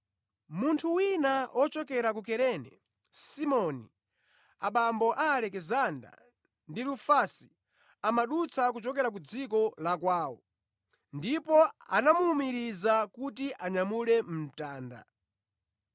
Munthu wina ochokera ku Kurene, Simoni, abambo a Alekisanda ndi Rufasi amadutsa kuchokera ku dziko la kwawo, ndipo anamuwumiriza kuti anyamule mtanda.